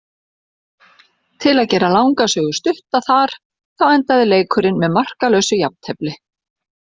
Til að gera langa sögu stutta þar þá endaði leikurinn með markalausu jafntefli.